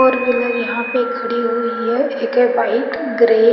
Four wheeler यहां पर खड़ी हुई है एक है व्हाइट ग्रे ।